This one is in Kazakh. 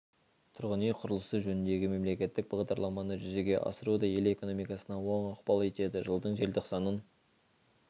тұрғын үй құрылысы жөніндегі мемлекеттік бағдарламаны жүзеге асыру да ел экономикасына оң ықпал етеді жылдың желтоқсанын